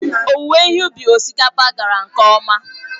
Owuwe ihe ubi osikapa gara nke ọma.